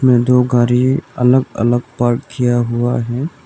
में दो गाड़ी अलग अलग पार्क किया हुआ है।